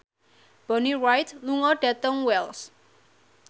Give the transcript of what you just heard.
Bonnie Wright lunga dhateng Wells